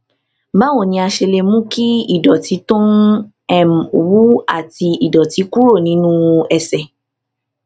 báwo ni a ṣe lè mú kí ìdòtí tó ń wú àti ìdòtí kúrò nínú ẹsè